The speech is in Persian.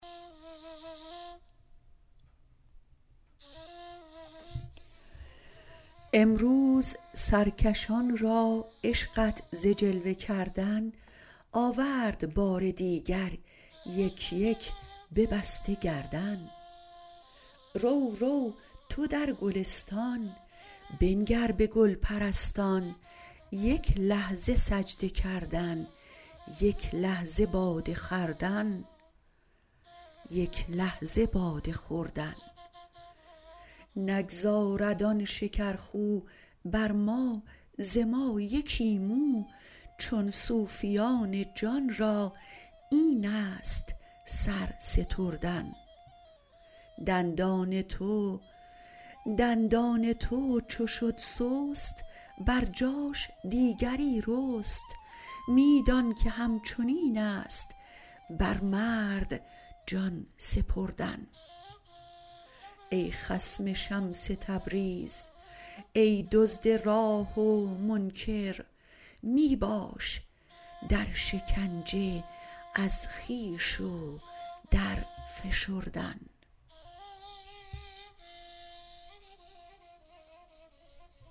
امروز سرکشان را عشقت ز جلوه کردن آورد بار دیگر یک یک ببسته گردن رو رو تو در گلستان بنگر به گل پرستان یک لحظه سجده کردن یک لحظه باده خوردن نگذارد آن شکرخو بر ما ز ما یکی مو چون صوفیان جان را این است سر ستردن دندان تو چو شد سست بر جاش دیگری رست می دانک همچنین است بر مرد جان سپردن ای خصم شمس تبریز ای دزد راه و منکر می باش در شکنجه از خویش و درفشردن